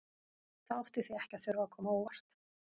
Það átti því ekki að þurfa að koma á óvart að